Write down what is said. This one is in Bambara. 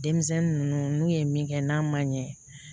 Denmisɛnnin ninnu n'u ye min kɛ n'a man ɲɛ